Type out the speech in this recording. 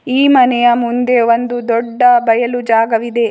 ಈ ಮನೆಯ ಮುಂದೆ ಒಂದು ದೊಡ್ಡ ಬಯಲು ಜಾಗವಿದೆ.